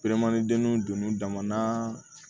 dennu donn'u dama na